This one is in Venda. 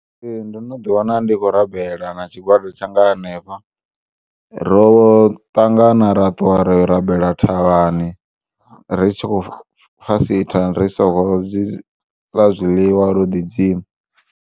Ee, ndo no ḓiwana ndikho rabela na tshigwada tshanga hanefha, roṱangana ra ṱuwa rayo rabela thavhani ri tshi khou fasitha risongo zwiḽiwa ro ḓi dzima.